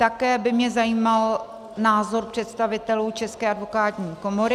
Také by mě zajímal názor představitelů České advokátní komory.